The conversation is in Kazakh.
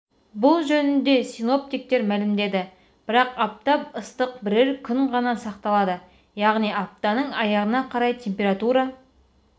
бұл жөнінде синоптиктер мәлімдеді бірақ аптап ыстық бірер күн ғана сақталады яғни аптаның аяғына қарай температура